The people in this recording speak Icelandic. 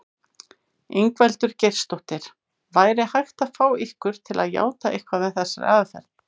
Ingveldur Geirsdóttir: Væri hægt að fá ykkur til játa eitthvað með þessari aðferð?